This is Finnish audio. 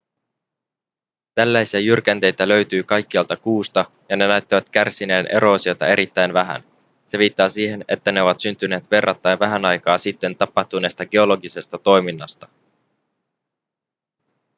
tällaisia jyrkänteitä löytyi kaikkialta kuusta ja ne näyttävät kärsineen eroosiosta erittäin vähän se viittaa siihen että ne ovat syntyneet verrattain vähän aikaa sitten tapahtuneesta geologisesta toiminnasta